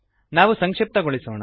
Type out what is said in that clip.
ನಾವು ಸಂಕ್ಶಿಪ್ತಗೊಳಿಸೋಣ